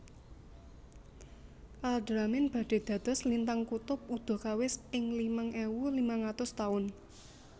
Alderamin badhe dados lintang kutub udakawis ing limang ewu limang atus taun